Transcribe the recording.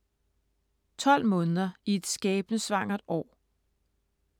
12 måneder i et skæbnesvangert år